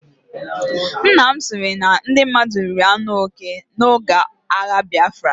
Nnam sịrị na ndị mmadụ riri anụ oke oge agha Biafra.